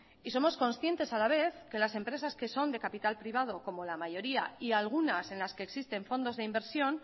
y somos conscientes a la vez que las empresas que son de capital privado como la mayoría y algunas en las que existen fondos de inversión